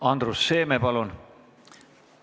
Andrus Seeme, palun!